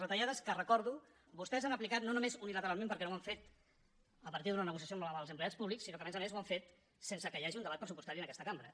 retallades que ho recordo vostès han aplicat no només unilateralment perquè no ho han fet a partir d’una negociació amb els empleats públics sinó que a més a més ho han fet sense que hi hagi un debat pressupostari en aquesta cambra